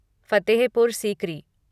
Fatehpur Sikri